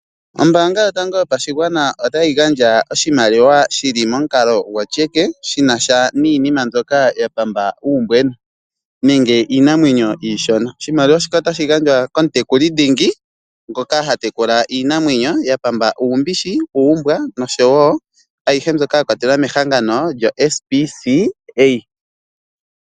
Ombaanga yotango yopashigwana otayi gandja oshimaliwa shi li momukalo gwo tyeke shina sha niinima mbyoka ya pamba uumbwena nenge iinamwenyo iishona iimaliwa mbika otayi gandjwa kiinamwenyo iishona ,iimaliwa mbika otyi gandjwa komutekuli dhingi ngoka ha tekula iinamwenyo ya pamba uumbishi ,uumbwa noshowo ayihe mbyoka ya kwatelwa mehangan9 lyoSPCA.